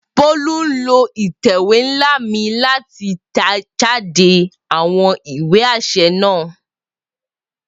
Bolu n lo itẹ̀wé nla mi lati tẹjáde awọn iwe aṣẹ naa.